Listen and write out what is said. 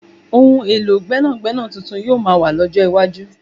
Ohun èlò gbẹ́nàgbẹ́nà tuntun yoo maa wà lọ́jọ́ iwájú